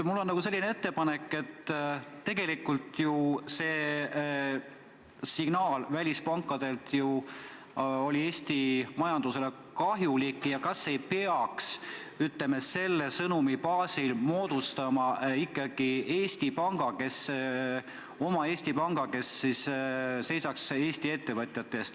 Mul on selline ettepanek – tegelikult signaal, mis välispankadelt tuli, oli ju Eesti majandusele kahjulik –, et kas me ei peaks selle sõnumi baasil moodustama oma Eesti panga, kes seisaks Eesti ettevõtjate eest.